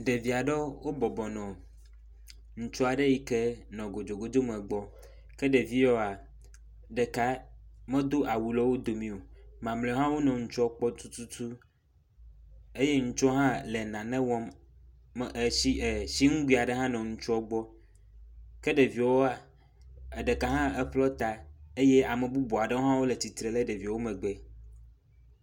Ɖevia ɖewo wobɔbɔ nɔ ŋutsua ɖe yi ke nɔ godzogodzo me gbɔ. Ke ɖevi yewoa, ɖeka medo awu le wo domi o mamlɛawo hã wonɔ ŋutsuɔ kpɔ tututu, eye ŋutsuɔa hã nɔ nane wɔm. Tsi etsiŋgoe ɖe hã nɔ ŋutsuɔ gbɔ. Ke ɖeviɔwoa, eɖeka hã eƒlɔ ta eye ame bubua ɖewo hã wole tsitre le ɖeviewo megbe.